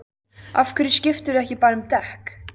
Af hverju skiptirðu ekki bara um dekk?